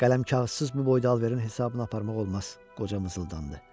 Qələm-kağızsız bu boyda alverin hesabını aparmaq olmaz, qoca mızıldandı.